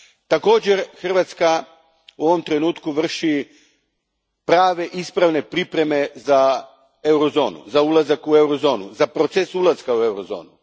Također, Hrvatska u ovom trenutku vrši prave ispravne pripreme za Eurozonu, za ulazak u Eurozonu, za proces ulaska u Eurozonu.